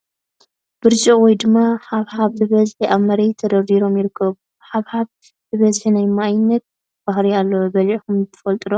ብርጭቅ ወይ ድማ ሓብሓብ ብበሒ ኣብ መሬት ደርዲሮም ይርከቡ ። ሓብሓብ ብበዝሒ ናይ ማይነት ባህሪ ኣለዎ ። በለዒኩም ትፈልጡ ዶ ?